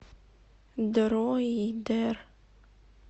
дроидер